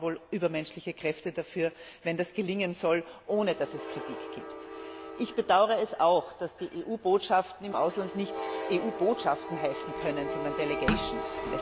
Da braucht man wohl übermenschliche Kräfte dafür, wenn das gelingen soll, ohne dass es Kritik gibt. Ich bedaure es auch, dass die EU Botschaften im Ausland nicht EU Botschaften heißen können, sondern delegations